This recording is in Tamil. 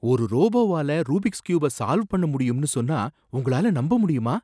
ஒரு ரோபோவால ரூபிக்ஸ் கியூப சால்வ் பண்ண முடியும்னு சொன்னா உங்களால நம்ப முடியுமா?